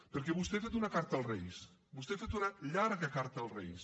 perquè vostè ha fet una carta als reis vostè ha fet una llarga carta als reis